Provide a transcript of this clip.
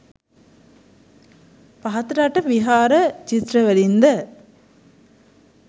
පහතරට විහාර චිත්‍රවලින් ද